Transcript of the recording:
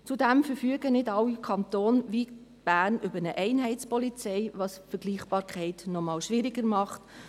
Zudem verfügen nicht alle Kantone wie Bern über eine Einheitspolizei, was die Vergleichbarkeit noch einmal schwieriger macht.